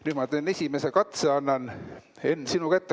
Nüüd ma teen esimese katse, annan, Henn, sinu kätte.